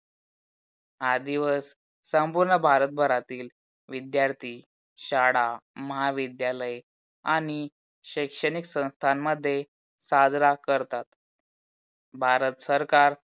हा दिवस संपूर्ण भारत भरातील विद्यार्थी, शाळा, महाविद्यालय आणि शैक्षणिक संस्थांमध्ये साजरा करतात. भारत सरकार